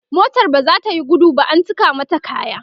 motan baza tayi gudu ba an cika mata kaya